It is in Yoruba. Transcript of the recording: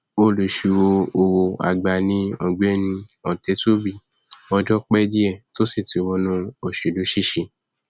olùṣíròòwòàgbà ni ọgbẹni ọtẹtúbí ọjọ pẹ díẹ tó sì ti wọnú òṣèlú ṣiṣẹ